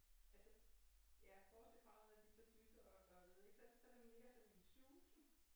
Altså ja bortset fra at når de så dytter og gør ved ik så det mere sådan en susen